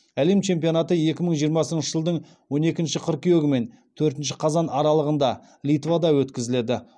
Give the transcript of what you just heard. әлем чемпионаты екі мың жиырмасыншы жылдың он екінші қыркүйегі мен төртінші қазан аралығында литвада өткізіледі